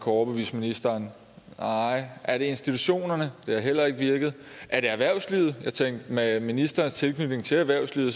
overbevise ministeren nej er det institutionerne det har heller ikke virket er det erhvervslivet jeg tænker at med ministerens tilknytning til erhvervslivet